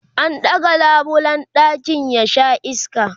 an ɗaga labulen ɗakin ya Sha iska